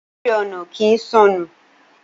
A béèrè ọ̀nà kii sọnù.